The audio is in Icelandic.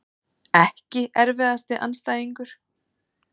EKKI erfiðasti andstæðingur?